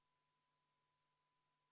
Palun, arupärijate esindaja Helle-Moonika Helme!